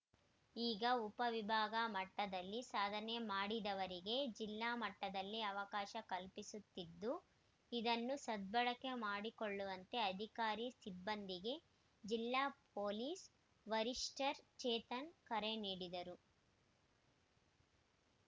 ಈಗ ಉಪ ವಿಭಾಗ ಮಟ್ಟದಲ್ಲಿ ಸಾಧನೆ ಮಾಡಿದವರಿಗೆ ಜಿಲ್ಲಾ ಮಟ್ಟದಲ್ಲಿ ಅವಕಾಶ ಕಲ್ಪಿಸುತ್ತಿದ್ದು ಇದನ್ನು ಸದ್ಭಳಕೆ ಮಾಡಿಕೊಳ್ಳುವಂತೆ ಅಧಿಕಾರಿ ಸಿಬ್ಬಂದಿಗೆ ಜಿಲ್ಲಾ ಪೊಲೀಸ್‌ ವರಿಷ್ಟಆರ್‌ಚೇತನ್‌ ಕರೆ ನೀಡಿದರು